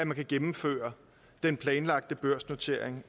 man kan gennemføre den planlagte børsnotering